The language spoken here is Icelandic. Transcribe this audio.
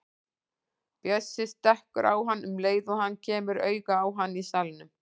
Bjössi stekkur á hann um leið og hann kemur auga á hann í salnum.